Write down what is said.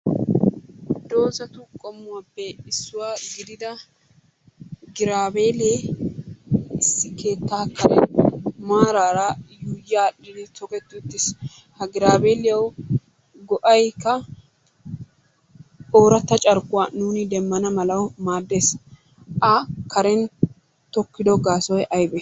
Dozatu qommuwaappe issuwa gidida girabellee issi keettaa karen maaraara yuuyyi aadhdhi toketti uttis. Ha giraabelliyawu go'ayikka ooratta carkkuwa nuuni demmana mala maaddes. A karen tokkido gaasoy ayibee?